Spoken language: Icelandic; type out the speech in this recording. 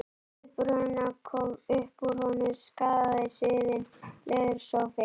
ið brunna, upp úr honum skagaði sviðinn leðursófi.